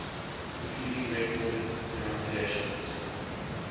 including recorded pronunciations